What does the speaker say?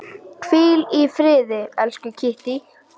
Hvíl í friði, elsku Kittý.